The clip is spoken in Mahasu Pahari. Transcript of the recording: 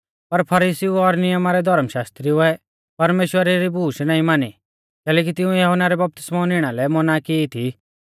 पर फरीसीउ और नियमा रै धौर्म शास्त्रिउऐ परमेश्‍वरा री बूश नाईं मानी कैलैकि तिंउऐ यहुन्ना रै बपतिस्मौ निणा लै मौना की थी